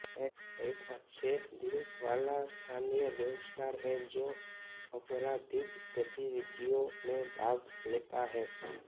एक अच्छे दिल वाला स्थानीय गैंगस्टर है जो आपराधिक गतिविधियों में भाग लेता है